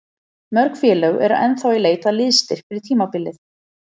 Mörg félög eru ennþá í leit að liðsstyrk fyrir tímabilið.